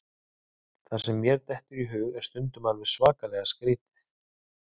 Það sem mér dettur í hug er stundum alveg svakalega skrítið.